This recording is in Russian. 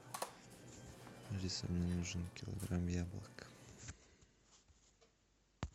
алиса мне нужен килограмм яблок